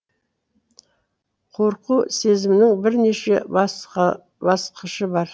қорқу сезімінің бірнеше басқышы бар